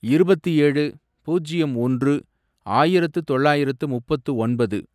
இருபத்து ஏழு, பூஜ்யம் ஒன்று, ஆயிரத்து தொள்ளாயிரத்து முப்பத்து ஒன்பது